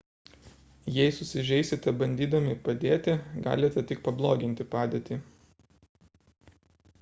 jei susižeisite bandydami padėti galite tik pabloginti padėtį